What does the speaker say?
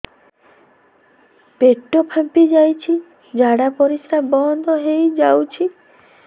ପେଟ ଫାମ୍ପି ଯାଇଛି ଝାଡ଼ା ପରିସ୍ରା ବନ୍ଦ ହେଇଯାଇଛି